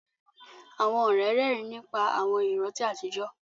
Àwọn ọ̀rẹ́ rẹ́rìn nípa àwọn ìrántí àtijọ́